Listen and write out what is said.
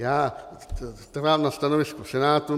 Já trvám na stanovisku Senátu.